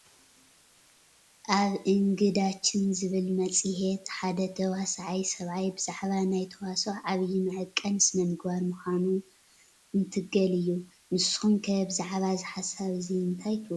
ኣብ እንግዳችን ዝብል መፅሄት ሓደ ተዋሳኣይ ሰብኣይ ብዛዕባ ናይ ተዋስኦ ዓብይ መዐቀኒ ስነምግባር ምዃኑ እንትገል እዩ፡፡ ንስኹም ከ ብዛዕባ እዚ ሓሳብ እዚ እንታይ ትብሉ?